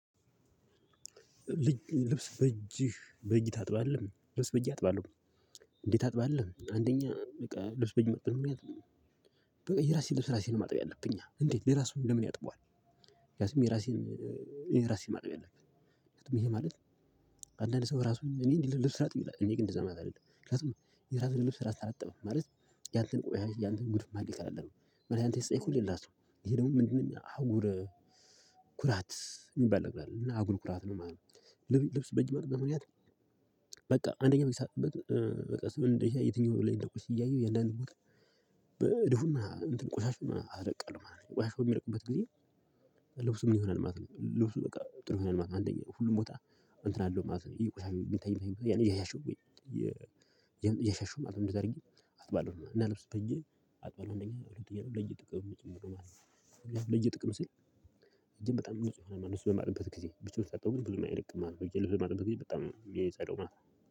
ልብስ በእጅህ በእጅ ታጥባለህ ልብስ በእጅ አጥባለሁ። እንዴት ታጥባለህ? አንደኛ በቃ ልብስ በጄ የማጥብበት ምክንያት የራሴን ልብስ ራሴ ነኝ ማጠብ ያለብኛ እንዴት ሌላ ሰው ለምን ያጥበዋለ? ምክንያቱም የራሴን እኔ ራሴ ነኝ ማጠብ። ያለብኝ ይሄ ማለት አንዳንድ ሰው ራሱን እኔ ልብስ ላጥብ ይላል እኔ ግን እንደዛ ማለት አይደለም። ምክንያቱም የራስህን ልብስ እራስህ አጠብክ ማለት ያንተን ቆሻሻ ያንተን ጉድፍ ማን ይከላልሃል? ማለቴ ያንተን ሲጠየቁህ ሌላሰው ይሄ ደግሞ ምንድነው? አህጉረ ኩራት የሚባል ነገር አለ እና አህጉር ኩራት ነው ማለት ነው። ልብስ በጂ የማጥብበት በምክንያት። በቃ አንደኛ በጄ በማጥብበት በቃ በመጨረሻ የትኛው ላይ እንደቆሽሸ እያየሁ የአንዳንድ ቦታ እድፉና ቆሻሻውን አስለቅቃለሁ ማለት ነው። ቆሻሻው በሚለቅበት ጊዜ? ልብሱ ምን ይሆናል ማለት ነው። ልብሱ በቃ ጥሩ ይሆናል ማለት ነው። አንደኛ ሁሉም ቦታ አንተን አለው ማለት ነው። ቆሻሻው የሚታይም የሚታይ ቦታ እያሻሸው እያሸሸው ማለት ነው። እንደዛ አድርጌ አጥባለሁ እና ልብስ በጄ አጥባለሁ። እንደኛ ሁለተኛ ለእጄ ጥቅም ስል ማለት ነው ለእጄ ጥቀም ስል። እጅን በጣም ንጹህ በማደርግበት ጊዜ ብቻውን ሳጥበው ብዙም አይለቅም ብዬ ልብህ ማጥን ብዬ በጣም የሚፀዳው ማለት ነው